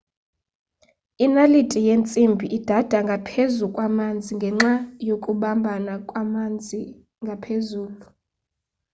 inaliti yentsimbi idada ngaphezu kwamanzi ngenxa yokubambana kwamanzi ngaphezulu